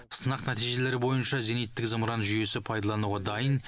сынақ нәтижелері бойынша зениттік зымыран жүйесі пайдалануға дайын